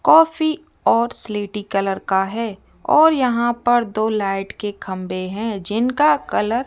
coffee और स्लेटी colour का है और यहां पर दो लाइट के खंभे हैं जिनका कलर --